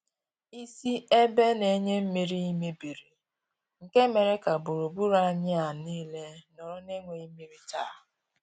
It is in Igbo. Isi ebe na-enye mmiri mebiri nke mere ka gburugburu anyị a nile nọrọ na enweghị mmiri taa.